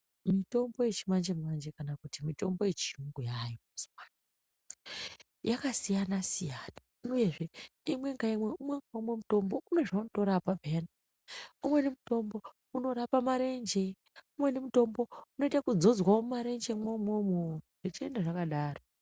Mitombo yechimanjemanje kana kuti mitombo yechiyungu yaayo mazuwa ano yakasiyanasiyana uyezve umwe-ngaumwe mutombo une zvaunotorapa peyani umweni mutombo unorape marenje ,umweni mutombo unoite yekudzodzwa mumarenje mwoumwomwo zvechienda zvakadaro.